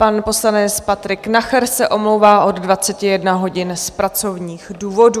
Pan poslanec Patrik Nacher se omlouvá od 21 hodin z pracovních důvodů.